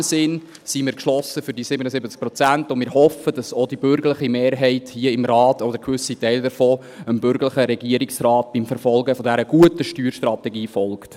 In diesem Sinn sind wir also geschlossen für die 77 Prozent und hoffen, dass auch die bürgerliche Mehrheit hier im Rat – oder gewisse Teile davon – dem bürgerlichen Regierungsrat beim Verfolgen dieser guten Steuerstrategie folgt.